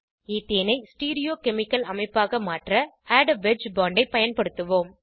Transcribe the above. ஈத்தேனை stereochemical அமைப்பாக மாற்ற add a wedge bond ஐ பயன்படுத்துவோம்